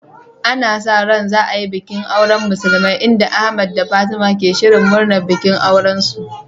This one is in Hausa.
Ana sa ran za a yi bikin auren musulmai, inda Ahmed da Fatima ke shirin murnar bikin aurensu.